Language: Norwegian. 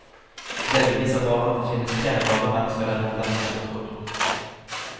Det beviser bare at det finnes flere rare mennesker der ute enn vi hadde trodd.